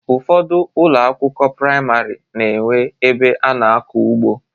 Ụfọdụ ụlọ akwụkwọ priamarị na enwe ebe ana akọ ugbo.